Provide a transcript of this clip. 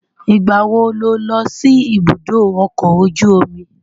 Ìgbà wo lo lọ sí ibùdó ọkọ ojú omi?